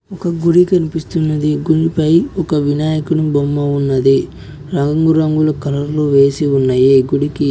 ఒక గుడి కనిపిస్తున్నది గుడిపై ఒక వినాయకుని బొమ్మ ఉన్నది రంగురంగుల కలర్లు వేసి ఉన్నాయి గుడికి.